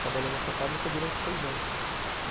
Trabalhei nessa fábrica durante seis anos.